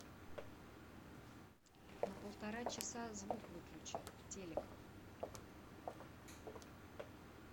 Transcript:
на полтора часа звук выключи телек